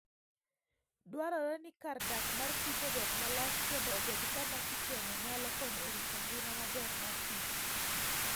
Dwarore ni kar dak mar kich obed malach kendo obed kama kicheno nyalo konyo e rito ngima maber mar kich.